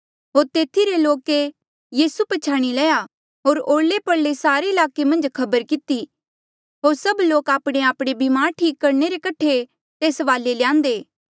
होर तेथी रे लोके यीसू पछयाणी लया होर ओरले परले सारे ईलाके मन्झ खबर किती होर सभ लोक आपणेआपणे ब्मार ठीक करणे रे कठे तेस वाले ल्यांदे